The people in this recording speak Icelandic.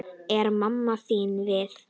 Er mamma þín við?